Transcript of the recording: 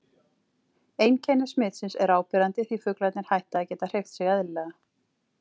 Einkenni smitsins eru áberandi því fuglarnir hætta að geta hreyft sig eðlilega.